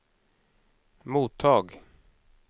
mottag